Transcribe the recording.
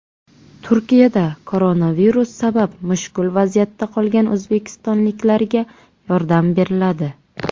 Turkiyada koronavirus sabab mushkul vaziyatda qolgan o‘zbekistonliklarga yordam beriladi.